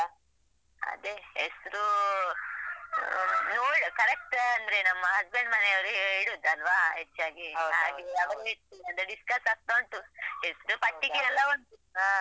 ಅದೇ ಹೆಸರೂ ಆ ನೋಡ್ correct ಅಂದ್ರೆ ನಮ್ಮ husband ಮನೆಯವರೇ ಇಡುದಲ್ವಾ ಹೆಚ್ಚಾಗಿ ಹಾಗೆ ಅವರೇ ಅದು discuss ಆಗ್ತಾ ಉಂಟು ಹೆಸರು ಪಟ್ಟಿಗೆ ಎಲ್ಲಾ ಉಂಟು ಹಾ.